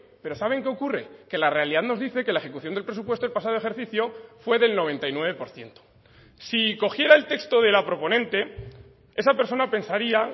pero saben que ocurre que la realidad nos dice que la ejecución del presupuesto el pasado ejercicio fue del noventa y nueve por ciento si cogiera el texto de la proponente esa persona pensaría